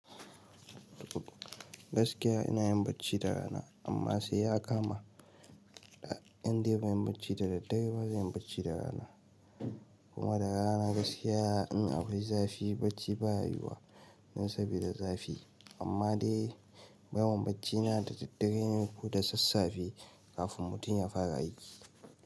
Gaskiya ina yin bacci da rana, amma sai ya kama, indai ban bacci da daddare ba zan yi bacci da rana. Kuma da rana gaskiya in akwai zafi bacci ba ya yawa don saboda zafi. Amma dai, yawan bacci na da daddare ne ko da sassafe kafin mutum ya fara aiki.